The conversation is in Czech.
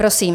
Prosím.